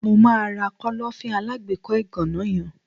Mo máa ra Kọ́lọ́fín alágbèékọ́ ìgànná yen.